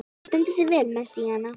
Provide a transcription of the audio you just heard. Þú stendur þig vel, Messíana!